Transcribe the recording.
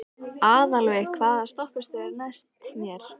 Aðalveig, hvaða stoppistöð er næst mér?